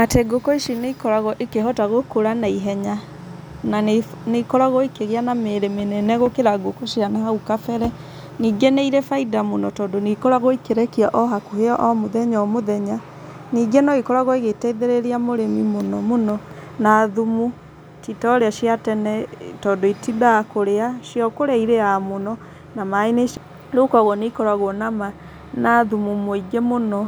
Atĩ ngũkũ ici nĩikoragwo ikĩhota gũkũra na ihenya na nĩikoragwo ikĩgĩa na mĩrĩ mĩnene gũkĩra ngũkũ cia nahau kabere ningĩ nĩirĩ bainda mũno tondũ nĩikoragwo ikĩrekia ohakũhe o mũthenya o mũthenya ningĩ noikoragwo igĩteithĩrĩria mũrĩmi mũno mũno na thumu titorĩa cia tene tondũ itindaga kũrĩa cio kũrĩa ĩrĩaga mũno na maĩ nĩci rĩu kogũo nĩikoragwo na thumu mũingĩ mũno